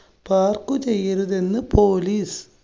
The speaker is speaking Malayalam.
park ചെയ്യരുതെന്ന് police